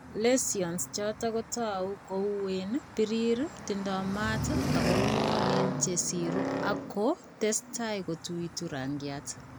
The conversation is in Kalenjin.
Lesions choto ko tau ko uuen, birir, tindo mat ak ng'wanen che siru ako testai kotuitu rang'iaat.